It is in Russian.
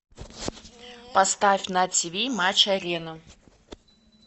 поставь на тиви матч арена